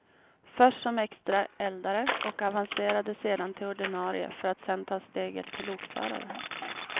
Först som extra eldare och avancerade sedan till ordinarie, för att sen ta steget till lokförare.